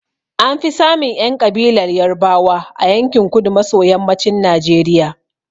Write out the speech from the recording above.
An fi samun ƴan ƙabilar Yarbawa a yankin kudu maso yammacin Najeriya.